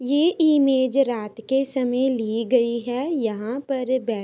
ये इमेज रात के समय ली गई है। यहाँ पर बैठ--